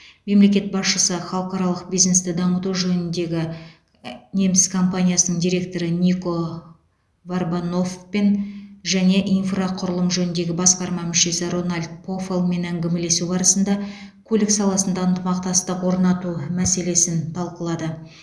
мемлекет басшысы халықаралық бизнесті дамыту жөніндегі неміс компаниясының директоры нико варбаноффпен және инфрақұрылым жөніндегі басқарма мүшесі рональд пофаллмен әңгімелесу барысында көлік саласында ынтымақтастық орнату мәселесін талқылады